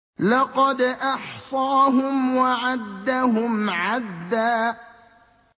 لَّقَدْ أَحْصَاهُمْ وَعَدَّهُمْ عَدًّا